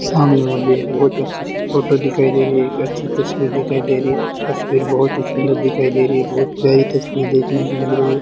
सामने मुझे एक बहोत अच्छी सी फोटो दिखाई दे रही है एक अच्छी तस्वीर दिखाई दे रही है तस्वीर बहोत ही सुंदर दिखाई दे रही है बहोत प्यारी तस्वीर देखने को मिल रही है।